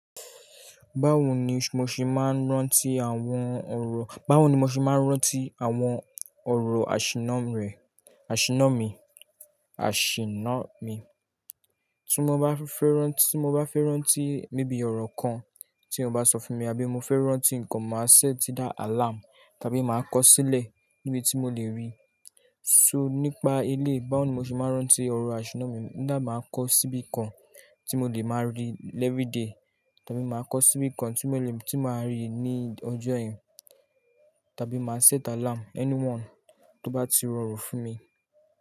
Báwo ni mo ṣe máa ń rántí àwọn ọ̀rọ̀, báwo ni mo ṣe máa ń rántí àwọn ọ̀rọ̀ àṣìnná rẹ, àṣìnná mi, àṣìnná mi. Tí mo bá fẹ́ rán, tí mo bá fẹ́ rántí maybe ọ̀rọ̀ kan tí eyan bá sọ fún mi, àbí mo fẹ́ rántí ǹkan, màá set either àlarm tàbí màá kọ sílẹ̀ níbi tí mo lè rí. So nípa ilé, báwo ni mo ṣe máa ń rántí ọ̀rọ̀ àṣìnná mi. Either màá kọ síbi kan tí mo lè máa rí every day, tàbí màá kọ síbi kan tí mo lè rí ní ọjọ́ yen, tàbí màá set alarm, anyone tó bá ti rọrùn fún mi.